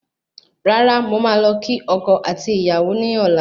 Rárá, mo máa lọ kí ọkọ àti Ìyàwó ní ọ̀la